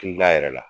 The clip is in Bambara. Hakilila yɛrɛ la